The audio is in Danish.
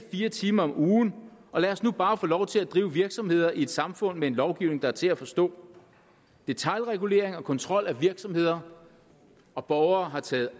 fire timer om ugen og lad os nu bare få lov til at drive virksomheder i et samfund med en lovgivning der er til at forstå detailregulering og kontrol af virksomheder og borgere har taget